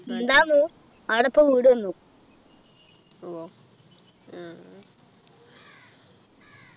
ഇണ്ടാർന്നു ആട ഇപ്പൊ വീട് വന്നു